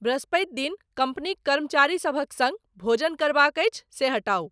बृहस्पति दिन कंपनीक कर्मचारी सभक संग भोजन करबाक अछि से हटाउ